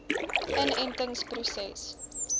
inentingproses